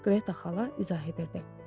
Qreta xala izah edirdi.